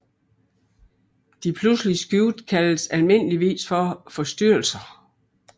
De pludselige skift kaldes almindeligvis for forstyrrelser